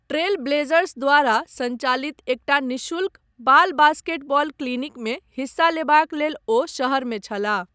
Trail Blazers द्वारा सञ्चालित एकटा निःशुल्क बाल बास्केटबॉल क्लिनिकमे हिस्सा लेबाक लेल ओ शहरमे छलाह।